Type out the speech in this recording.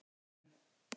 Höfnum